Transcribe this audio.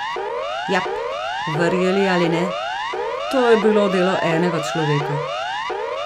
Jap, verjeli ali ne, to je bilo delo enega človeka!